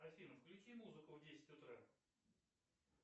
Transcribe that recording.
афина включи музыку в десять утра